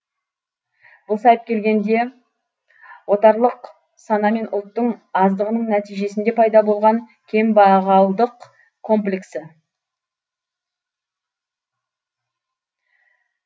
бұл сайып келгенде отарлық сана мен ұлттың аздығының нәтижесінде пайда болған кембағалдық комплексі